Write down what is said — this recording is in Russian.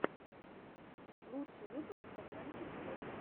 лучший выпуск пацанчег вот